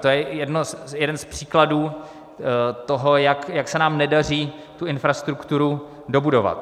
To je jeden z příkladů toho, jak se nám nedaří tu infrastrukturu dobudovat.